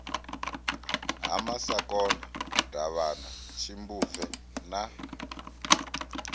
ha masakona davhana tshimbupfe na